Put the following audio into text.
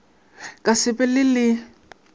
ka se be le le